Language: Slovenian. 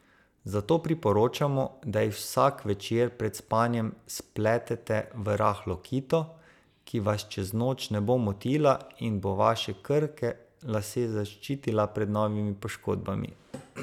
Zato priporočamo, da jih vsak večer pred spanjem spletete v rahlo kito, ki vas čez noč ne bo motila in bo vaše krhke lase zaščitila pred novimi poškodbami.